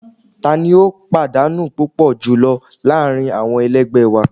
Tani o padanu pupọ julọ laarin awọn ẹlẹgbẹ wa